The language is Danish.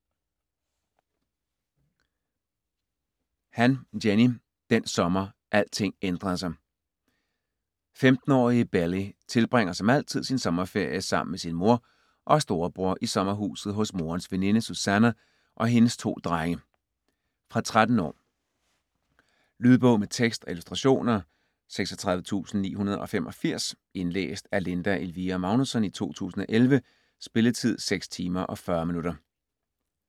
Han, Jenny: Den sommer alting ændrede sig 15-årige Belly tilbringer som altid sin sommerferie sammen med sin mor og storebror i sommerhuset hos morens veninde Susannah og hendes to drenge. Fra 13 år. Lydbog med tekst og illustrationer 36985 Indlæst af Linda Elvira Magnussen, 2011. Spilletid: 6 timer, 40 minutter.